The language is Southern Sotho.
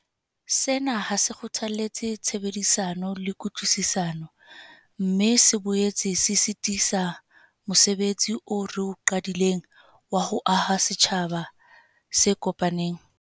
Sena ha se kgothalletse tshebedisano le kutlwisisano, mme se boetse se sitisa mose betsi oo re o qadileng wa ho aha setjhaba se kopaneng.